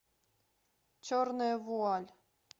черная вуаль